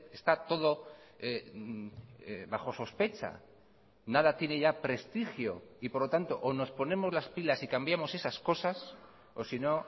está todo bajo sospecha nada tiene ya prestigio y por lo tanto o nos ponemos las pilas y cambiamos esas cosas o si no